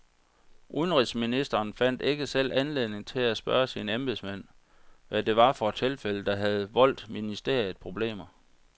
Udenrigsministeren fandt ikke selv anledning til at spørge sine embedsmænd, hvad det var for et tilfælde, der havde voldt ministeriet problemer.